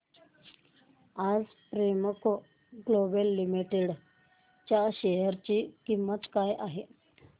आज Premco global limited च्या share ची किंमत काय आहे